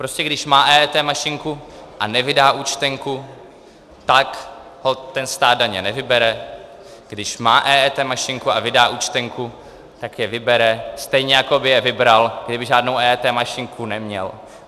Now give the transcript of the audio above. Prostě když má EET mašinku a nevydá účtenku, tak holt stát daně nevybere, když má EET mašinku a vydá účtenku, tak je vybere, stejně jako by je vybral, kdyby žádnou EET mašinku neměl.